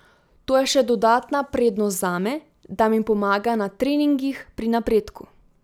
To je še dodatna prednost zame, da mi pomaga na treningih pri napredku.